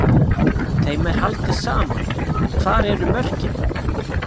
Þeim er haldið saman en hvar eru mörkin?